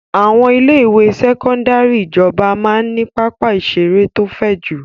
Àwọn ilé-ìwé sẹ́kọ́ndárì ìjọba máa ń ní pápá-ìṣeré tó fẹ̀ jù.